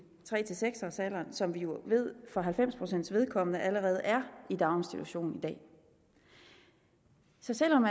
tre seks års alderen som vi jo ved for halvfems pcts vedkommende allerede er i daginstitution i dag så selv om